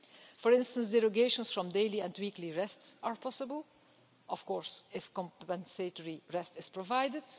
For instance, derogations from daily and weekly rests are possible, of course, if compensatory rest is provided.